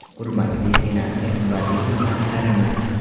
Hurmatli senator va deputatlarimiz.